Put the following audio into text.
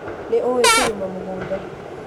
Nĩ ũwĩ kũrĩma mũgũnda